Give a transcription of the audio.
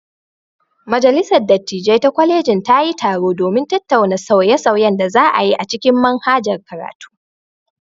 Majalisar dattijai ta kwalejin ta yi taro domin tattauna sauye-sauyen da za a yi a cikin manhajar karatu.